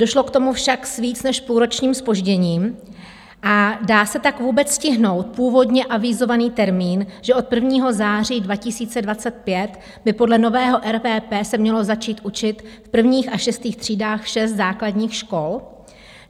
Došlo k tomu však s víc než půlročním zpožděním, a dá se tak vůbec stihnout původně avizovaný termín, že od 1. září 2025 by podle nového RVP se mělo začít učit v prvních až šestých třídách šest základních škol?